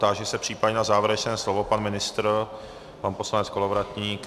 Táži se případně na závěrečné slovo - pan ministr, pan poslanec Kolovratník?